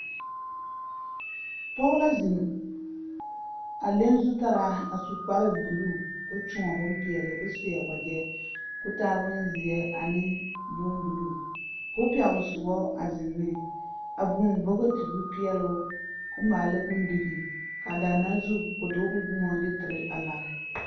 Pɔg la zeŋ, a leŋ zutaraa a su kparebuluu ko kyõɔ bompeɛle ko seɛ wagyɛ ko taa bonzeɛ ane bombuluu, a buŋ bogti ko peɛle o ko maala bondirii kaa daana zu ko dogele boma de tere a lare.